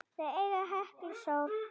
Þau eiga Heklu Sól.